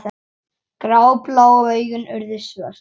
Gráblá augun urðu svört.